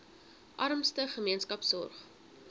armste gemeenskappe sorg